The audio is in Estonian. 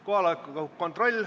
Kohaloleku kontroll.